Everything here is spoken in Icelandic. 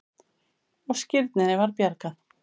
Og skírninni var bjargað.